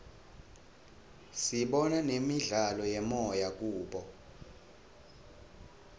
sibona nemidlalo yemoya kubo